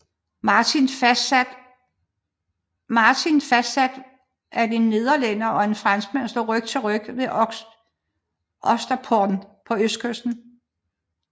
Martin fastsat ved at en nederlænder og en franskmand stod ryg til ryg ved Oysterpond på østkysten